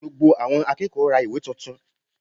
Gbogbo àwọn akẹ́kọ̀ọ́ ra ìwé tuntun